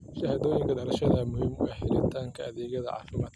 Shahaadooyinka dhalashada ayaa muhiim u ah helitaanka adeegyada caafimaadka.